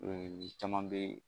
caman bɛ